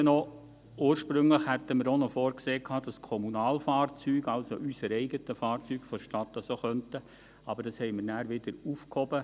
Und noch das Zweite: Ursprünglich hatten wir auch noch vorgesehen, dass die Kommunalfahrzeuge, also unsere eigenen Fahrzeuge der Stadt, dies auch könnten, aber das haben wir dann wieder aufgehoben.